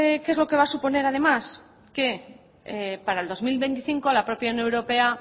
qué es lo que va a suponer además que para el dos mil veinticinco la propia unión europea